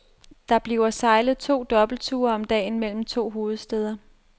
Der bliver sejlet to dobbeltture om dagen mellem de to hovedstæder.